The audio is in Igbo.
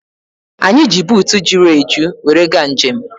Anyị ji buutu juru eju were gaa njem